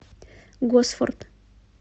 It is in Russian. госфорд